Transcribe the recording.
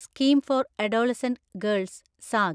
scheme for adolescent girls (zag)